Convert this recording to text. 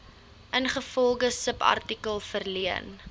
ingevolge subartikel verleen